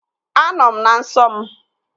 Anọ m na nsọ m